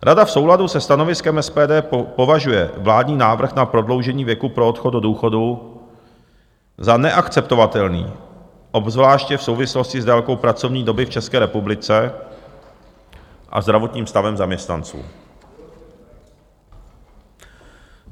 Rada v souladu se stanoviskem SPD považuje vládní návrh na prodloužení věku pro odchod do důchodu za neakceptovatelný, obzvláště v souvislosti s délkou pracovní doby v České republice a zdravotním stavem zaměstnanců.